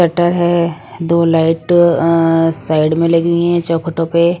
cutter हैं दो light अ साइड में लगी हुई हैं चौखटों पे--